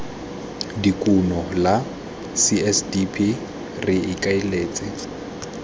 dikuno la csdp re ikaeletse